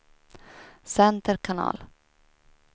center kanal